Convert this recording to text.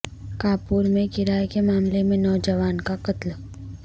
کانپور میں کرایہ کے معاملے میں نوجوان کا قتل